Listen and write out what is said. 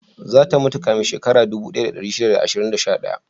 Za ta mutu kafin shekaru dubu ɗaya da ɗari shida da ashirin da sha ɗaya?